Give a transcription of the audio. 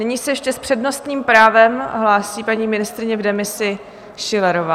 Nyní se ještě s přednostním právem hlásí paní ministryně v demisi Schillerová.